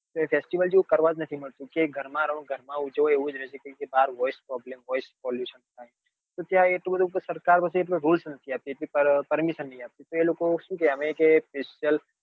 કઈ fastivel જેવું કરવા જ નથી મળતું કે ઘર માં રહો ઘર માં જ ઉજવો એવું જ રહે છે કેમ કે ત્યાં voice problemvoice pollution થાય તો ત્યાં એટલું બધું સરકાર પછી rules નથી આપતી permission તો એ લોકો શું કે છે કે અમે special